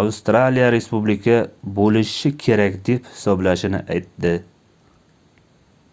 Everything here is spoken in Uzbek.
avstraliya respublika boʻlishi kerak deb hisoblashini aytdi